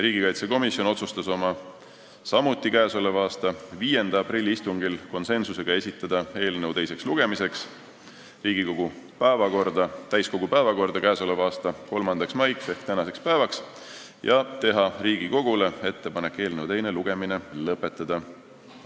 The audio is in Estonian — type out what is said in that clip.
Riigikaitsekomisjon otsustas oma k.a 5. aprilli istungil esitada eelnõu teiseks lugemiseks Riigikogu täiskogu päevakorda k.a 3. maiks ehk tänaseks päevaks ja teha Riigikogule ettepaneku eelnõu teine lugemine lõpetada.